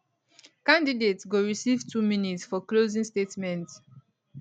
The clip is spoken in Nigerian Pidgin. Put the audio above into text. candidates go receive two minutes for closing statements